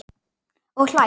Og hlær.